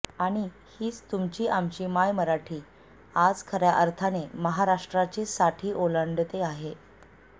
आणि हीच तुमची आमची मायमराठी आज खर्या अर्थाने महाराष्ट्राची साठी ओलांडते आहे